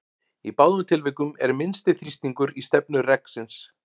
Í báðum tilvikum er minnsti þrýstingur í stefnu reksins.